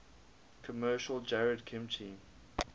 commercial jarred kimchi